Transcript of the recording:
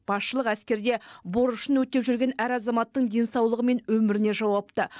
басшылық әскерде борышын өтеп жүрген әр азаматтың денсаулығы мен өміріне жауапты